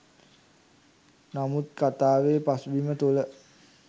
නමුත් කතාවේ පසුබිම තුළ